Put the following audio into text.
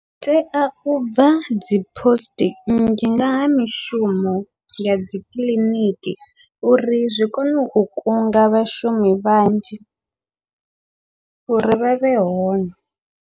Tea ubva dzi post nnzhi ngaha mishumo ya dzikiḽiniki, uri zwi kone u kunga vhashumi vhanzhi uri vhavhe hone.